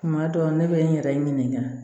Kuma dɔw ne bɛ n yɛrɛ ɲininka